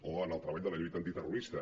o en el treball de la lluita antiterro·rista